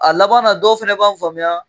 A labanna dɔw fana b'a faamuya